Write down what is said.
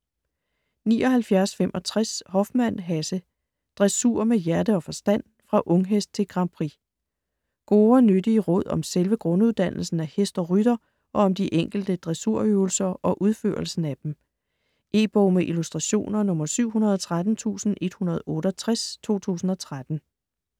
79.65 Hoffmann, Hasse: Dressur med hjerte og forstand: fra unghest til Grand Prix Gode og nyttige råd om selve grunduddannelsen af hest og rytter og om de enkelte dressurøvelser og udførelsen af dem. E-bog med illustrationer 713168 2013.